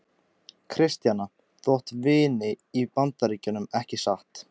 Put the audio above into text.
Kristjana: Þú átt vini í Bandaríkjunum, ekki satt?